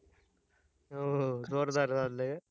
हो, जोरदार चाललंय